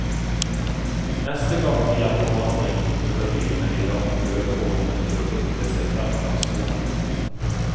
Neste gang de er på vandring, bruker dyrene de lange følehornene til å lukte seg frem langs sporet.